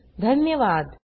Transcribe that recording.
सहभागासाठी धन्यवाद